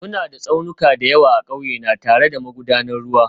Muna da tsaunuka da yawa a ƙauye na, tare da magudanan ruwa